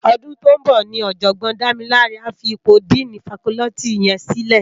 Òdún tó n bò ni òjògbòn Damilare á fi ipó dìní fákòlìtí yèn silè